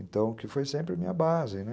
Então, que foi sempre a minha base, né?